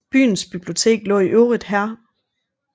Byens bibliotek lå i øvrigt her